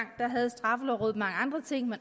havde straffelovrådet mange andre ting de